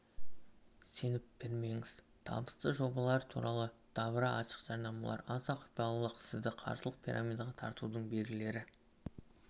сеніп бермеңіз табысты жобалар туралы дабыра ашық жарнамалар аса құпиялылық сізді қаржылық пирамидаға тартудың белгілері